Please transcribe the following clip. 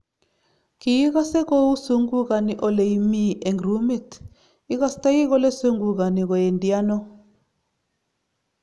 Kiigase kou zungukani ole imii eng rumit, igastoi kole zungukani koendi ano?